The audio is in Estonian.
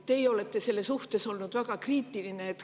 Teie olete selle suhtes olnud väga kriitiline.